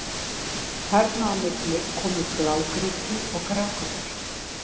Þarna á milli koma blágrýti og grágrýti.